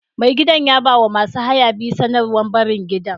Mai gidan ya ba wa masu haya biyu sanarwar barin gidan.